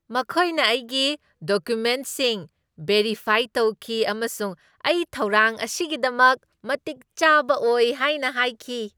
ꯃꯈꯣꯏꯅ ꯑꯩꯒꯤ ꯗꯣꯀꯨꯃꯦꯟꯠꯁꯤꯡ ꯚꯦꯔꯤꯐꯥꯏ ꯇꯧꯈꯤ ꯑꯃꯁꯨꯡ ꯑꯩ ꯊꯧꯔꯥꯡ ꯑꯁꯤꯒꯤꯗꯃꯛ ꯃꯇꯤꯛ ꯆꯥꯕ ꯑꯣꯏ ꯍꯥꯏꯅ ꯍꯥꯏꯈꯤ꯫